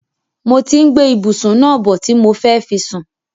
Mo ti ń gbé ìbùsún náà bọ̀ ti mo fẹ́ fi sùn.